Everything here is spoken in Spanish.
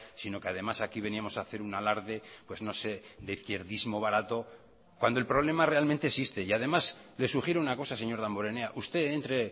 sino que además aquí veníamos a hacer un alarde pues no sé de izquierdismo barato cuando el problema realmente existe y además le sugiero una cosa señor damborenea usted entre